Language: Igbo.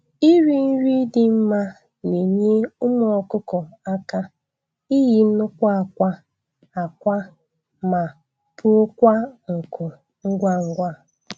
Iri nri dị mma na-enye ụmụ ọkụkọ aka iyi nnukwu akwa akwa ma puokwa nku ngwa ngwa.